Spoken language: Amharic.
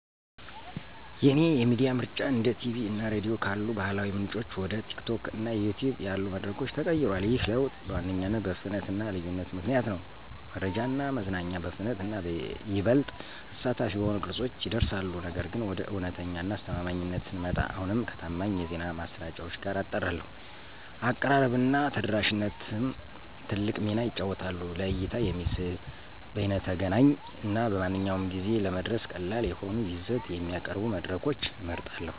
የእኔ የሚዲያ ምርጫ እንደ ቲቪ እና ራዲዮ ካሉ ባህላዊ ምንጮች ወደ TikTok እና YouTube ያሉ መድረኮች ተቀይሯል። ይህ ለውጥ በዋነኛነት በፍጥነት እና ልዩነት ምክንያት ነው—መረጃ እና መዝናኛ በፍጥነት እና ይበልጥ አሳታፊ በሆኑ ቅርጸቶች ይደርሳሉ። ነገር ግን፣ ወደ እውነት እና አስተማማኝነት ስንመጣ፣ አሁንም ከታማኝ የዜና ማሰራጫዎች ጋር አጣራለሁ። አቀራረብ እና ተደራሽነትም ትልቅ ሚና ይጫወታሉ; ለእይታ የሚስብ፣ በይነተገናኝ እና በማንኛውም ጊዜ ለመድረስ ቀላል የሆነ ይዘት የሚያቀርቡ መድረኮችን እመርጣለሁ።